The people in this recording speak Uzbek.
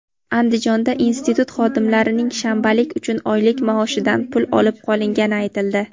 Andijonda institut xodimlarining shanbalik uchun oylik maoshidan pul olib qolingani aytildi.